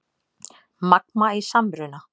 Magma í samruna